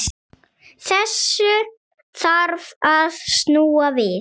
Þessu þarf að snúa við.